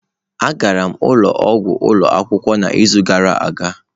A gara m ụlọ ọgwụ ụlọ akwụkwọ n'izu gara aga.